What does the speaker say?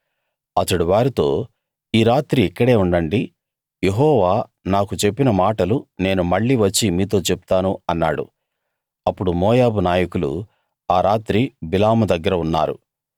అతడు వారితో ఈ రాత్రి ఇక్కడే ఉండండి యెహోవా నాకు చెప్పిన మాటలు నేను మళ్ళీ వచ్చి మీతో చెప్తాను అన్నాడు అప్పుడు మోయాబు నాయకులు ఆ రాత్రి బిలాము దగ్గర ఉన్నారు